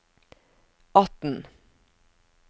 atten